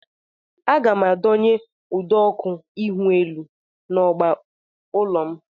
Aga m adonye ụdọọkụ ihuelu n'ọgba ụlọ m